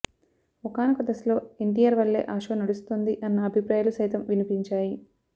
ఒకానొక దశలో ఎన్టీఆర్ వల్లే ఆ షో నడుస్తోంది అన్న అభిప్రాయాలు సైతం వినిపించాయి